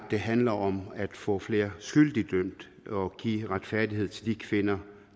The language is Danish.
det handler om at få flere skyldige dømt og give retfærdighed til de kvinder